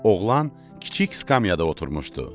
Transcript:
Oğlan kiçik skamyada oturmuşdu.